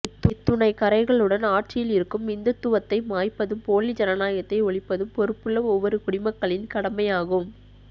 இத்துணை கறைகளுடன் ஆட்சியில் இருக்கும் இந்துத்துவத்தை மாய்ப்பதும் போலி ஜனநாயகத்தை ஒழிப்பதும் பொருப்புள்ள ஒவ்வொரு குடிமக்களின் கடமையாகும்